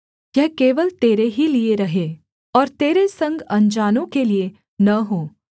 यह केवल तेरे ही लिये रहे और तेरे संग अनजानों के लिये न हो